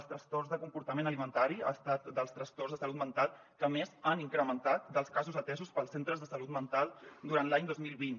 els trastorns de comportament alimentari han estat dels trastorns de salut mental que més s’han incrementat dels casos atesos pels centres de salut mental durant l’any dos mil vint